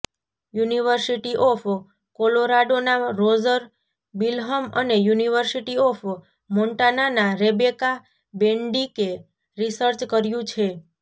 university of કોલોરાડોના Roger Bilham અને University of મોન્ટાનાનાં રેબેકા બેન્ડિકે રિસર્ચ કર્યું છે